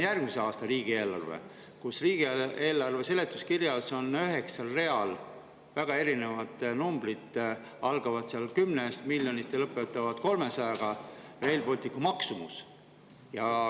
Järgmise aasta riigieelarve seletuskirjas on üheksal real väga erinevad numbrid Rail Balticu maksumuse kohta, need algavad 10 miljonist ja lõpevad 300 miljoniga.